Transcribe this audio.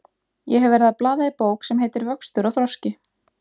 Ég hef verið að blaða í bók sem heitir Vöxtur og þroski.